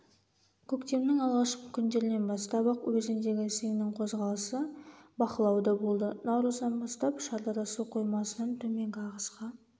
көктемнің алғашқы күндерінен бастап-ақ өзендегі сеңнің қозғалысы бақылауда болды наурыздан бастап шардара су қоймасынан төменгі ағысқа